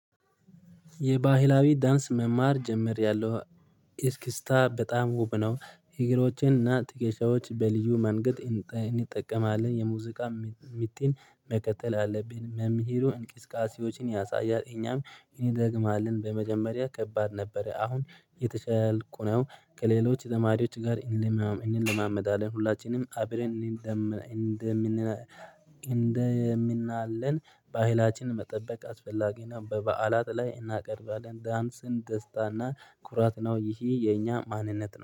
የባህላዊ ዳንስ መማር ጀምሬያለው። እስክስታ በጣም ውብ ነው እግሮቼን እና ትክሻዎች በልዩ መንገድ እንጠቀማለን የሙዚቃ ምትን መከተል አለብን። መምህሩ እንቅስቃሴዎችን ያሳያል እኛም እንደግማለን በመጀመሪያ ከባድ ነበረ። አሁን የተሻልኩ ነው። ከሌሎች ተማሪዎች ጋር እንልማም እንልማመዳለን ሁላችንም አብረን እንደምን እንደምን አለን። ባህላችንን መጠበቅ አስፈላጊና በበዓላት ላይ እናቀርባለን። ዳንስን ደስታና ኩራት ነው። ይሄ የኛ ማንነት ነው